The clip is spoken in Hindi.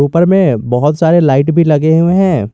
उपर में बहोत सारे लाइट भी लगे हुए हैं।